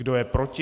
Kdo je proti?